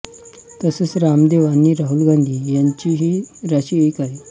तसेच रामदेव आणि राहुल गांधी यांचीही राशी एक आहे